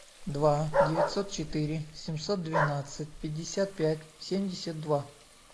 два девятьсот четыре семьсот двенадцать пятьдесят пять семьдесят два